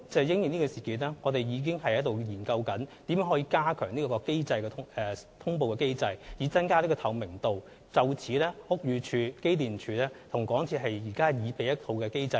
因應這事件，我們正研究如何加強通報機制以增加透明度，而屋宇署、機電署和港鐵公司現正擬備有關機制。